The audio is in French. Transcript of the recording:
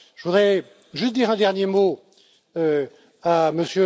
Je voudrais juste dire un dernier mot